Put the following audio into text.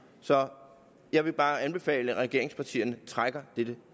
så jeg vil bare anbefale at regeringspartierne trækker dette